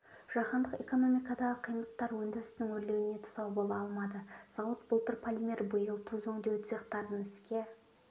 жаһандық экономикадағы қиындықтар өндірістің өрлеуіне тұсау бола алмады зауыт былтыр полимер биыл тұз өңдеу цехтарын іске